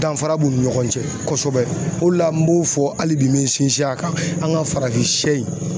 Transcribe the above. Danfara b'u ni ɲɔgɔn cɛ kosɛbɛ o de la n b'o fɔ ali bi n bi n sinsin a kan an ga farafin sɛ in